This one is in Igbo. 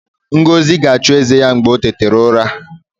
Ngozi ga-achụ eze ya ma o tete ụra